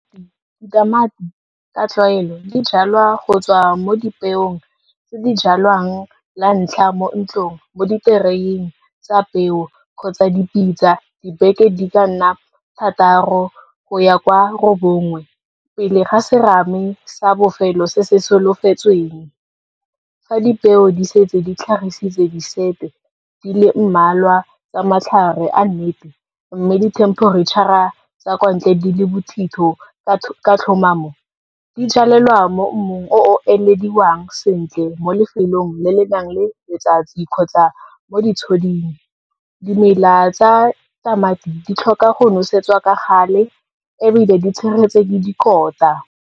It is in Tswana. Ditamati ka tlwaelo, di jalwa go tswa mo dipeong tse di jalwang lantlha mo ntlong, mo ditereneng tsa peo kgotsa dipitsa, dibeke di ka nna thataro go ya kwa robongwe, pele ga serame sa bofelo se se solofetsweng. Fa dipeo di setse ditlhagisitse di sete, di le mmalwa tsa matlhare a nnete, mme dithemperetšhara tsa kwa ntle di le bothitho ka tlhomamo, di jalelwa mo mmung o o elediwang sentle, mo lefelong le le nang le letsatsi kgotsa mo ditshoding. Dimela tsa tamati di tlhoka go nosetswa ka gale, ebile di tshegetswe ke dikota.